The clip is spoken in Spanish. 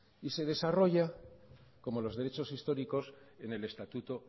y de desarrolla como los derechos históricos en el estatuto